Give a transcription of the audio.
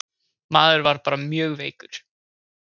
Maður var bara mjög veikur.